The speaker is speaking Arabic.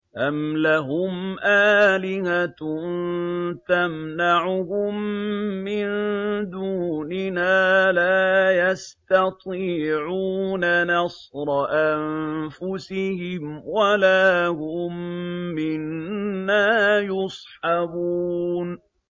أَمْ لَهُمْ آلِهَةٌ تَمْنَعُهُم مِّن دُونِنَا ۚ لَا يَسْتَطِيعُونَ نَصْرَ أَنفُسِهِمْ وَلَا هُم مِّنَّا يُصْحَبُونَ